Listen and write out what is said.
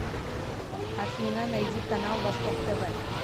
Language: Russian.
афина найди канал восток тв